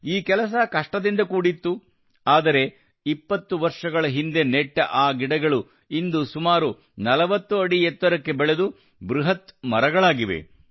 ಈ ಕೆಲಸ ಕಷ್ಟದಿಂದ ಕೂಡಿತ್ತು ಆದರೆ 20 ವರ್ಷಗಳ ಹಿಂದೆ ನೆಟ್ಟ ಆ ಗಿಡಗಳು ಇಂದು ಸುಮಾರು 40 ರಿಂದ 45 ಅಡಿ ಎತ್ತರಕ್ಕೆ ಬೆಳೆದು ಬೃಹತ್ ಮರಗಳಾಗಿವೆ